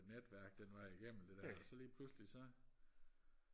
netværk den vej igennem det der og så lige pludselig så